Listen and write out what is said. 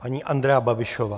Paní Andrea Babišová.